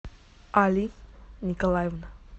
али николаевна